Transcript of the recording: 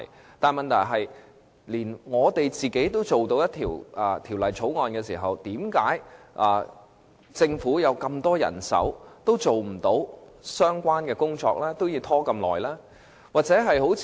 我想指出的是，如果連議員都能提交法案，為甚麼政府有這麼多人手，也未能完成有關工作，要拖延這麼長時間呢？